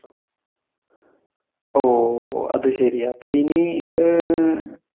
ഓ, അതുശരി അപ്പോ ഇനി ഏർ